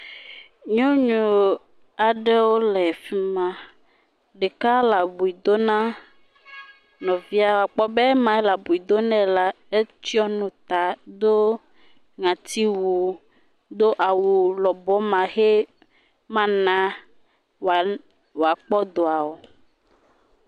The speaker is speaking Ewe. Nyɔnu aɖewo le fi ma. Ɖeka le abui dom na nɔvia. Akpɔ be ema le abui dom nɛ la etsɔ nu ta, do ŋɔtiwu, do awu lɔbɔ ma xɛ mana woale woakpɔ dɔa o.